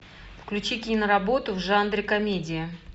включи киноработу в жанре комедия